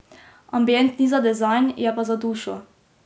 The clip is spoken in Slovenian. Ambient ni za dizajn, je pa za dušo.